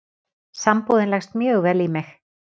Sambúðin leggst mjög vel í mig